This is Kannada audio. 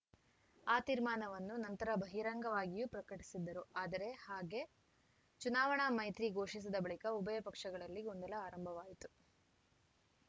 ಆ ತೀರ್ಮಾನವನ್ನು ನಂತರ ಬಹಿರಂಗವಾಗಿಯೂ ಪ್ರಕಟಿಸಿದ್ದರು ಆದರೆ ಹಾಗೆ ಚುನಾವಣಾ ಮೈತ್ರಿ ಘೋಷಿಸಿದ ಬಳಿಕ ಉಭಯ ಪಕ್ಷಗಳಲ್ಲಿ ಗೊಂದಲ ಆರಂಭವಾಯಿತು